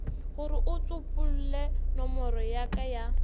goreo tsopolenomoro ya ka ya